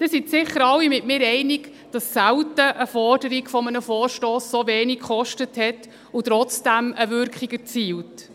Sie sind sicher alle mit mir einig, dass selten eine Forderung eines Vorstosses so wenig kostet und trotzdem eine Wirkung erzielt.